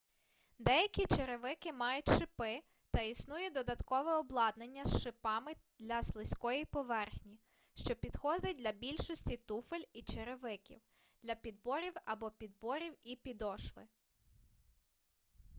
деякі черевики мають шипи та існує додаткове обладнання з шипами для слизької поверхні що підходить для більшості туфель і черевиків для підборів або підборів і підошви